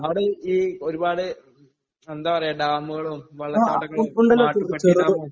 അവിടെ ഈ ജി ഒരുപാട് എന്താ പറയാ ഡാമുകളും വെള്ളപ്പാടങ്ങളും. മാട്ടുപ്പെട്ടി ഡാം.